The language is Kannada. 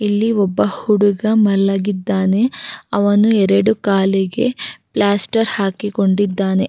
ಇಲ್ಲಿ ಒಬ್ಬ ಹುಡುಗ ಮಲಗಿದ್ದಾನೆ ಅವನು ಎರಡು ಕಾಲಿಗೆ ಪ್ಲಾಸ್ಟರ್ ಹಾಕಿಕೊಂಡಿದ್ದಾನೆ.